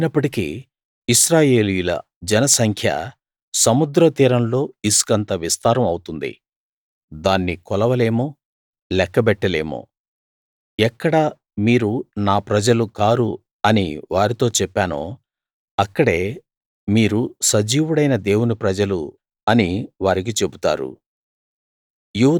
అయినప్పటికీ ఇశ్రాయేలీయుల జనసంఖ్య సముద్రతీరంలో ఇసుకంత విస్తారం అవుతుంది దాన్ని కొలవలేము లెక్కబెట్టలేము ఎక్కడ మీరు నా ప్రజలు కారు అని వారితో చెప్పానో అక్కడే మీరు సజీవుడైన దేవుని ప్రజలు అని వారికి చెబుతారు